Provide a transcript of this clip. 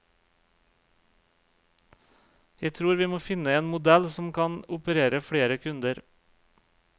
Jeg tror vi må finne en modell som kan operere flere kunder.